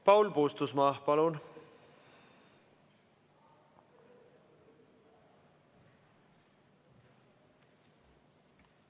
Paul Puustusmaa, palun!